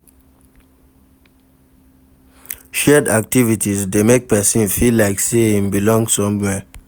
Shared activities de make persin feel like say in belong somewhere